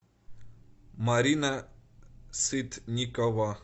марина сытникова